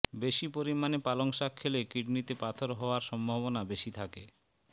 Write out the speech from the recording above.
বেশি পরিমাণে পালং শাক খেলে কিডনিতে পাথর হওয়ার সম্ভাবনা বেশি থাকে